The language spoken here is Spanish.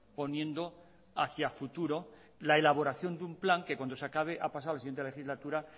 poniendo hacia futuro la elaboración de un plan que cuando se acabe ha pasado a la siguiente legislatura